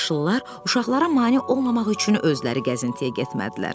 Yaşıllar uşaqlara mane olmamaq üçün özləri gəzintiyə getmədilər.